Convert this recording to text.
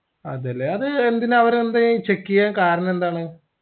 അതെല്ലേ അത് എന്തിനാ അവർ എന്തേയ് check ചെയ്യാൻ കാർണന്തെണ്